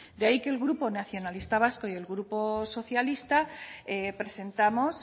de ahí que el grupo nacionalista vasco y el grupo socialista presentamos